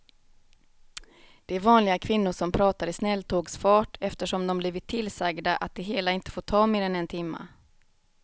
Det är vanliga kvinnor som pratar i snälltågsfart eftersom de blivit tillsagda att det hela inte får ta mer än en timme.